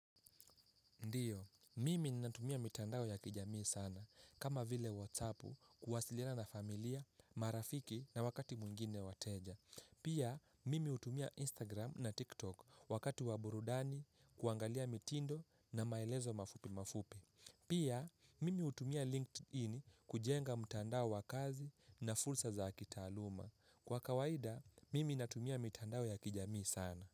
Ndiyo, mimi natumia mitandao ya kijamii sana. Kama vile whatsappu kuwasiliana na familia, marafiki na wakati mwingine wateja. Pia, mimi hutumia Instagram na TikTok wakati wa burudani kuangalia mitindo na maelezo mafupi mafupi. Pia, mimi hutumia LinkedIn kujenga mitandao wa kazi na fursa za kitaaluma. Kwa kawaida, mimi natumia mitandao ya kijamii sana.